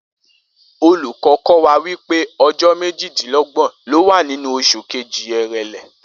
Olùkó̩ kó̩ wa wípé o̩jó̩ méjìdínló̩gbò̩n ló wà nínú os̩ù kejì, Èrèlé